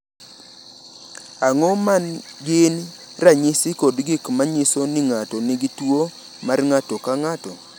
Ang’o ma gin ranyisi kod gik ma nyiso ni ng’ato nigi tuwo mar ng’ato ka ng’ato?